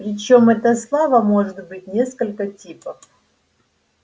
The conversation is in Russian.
причём эта слава может быть несколько типов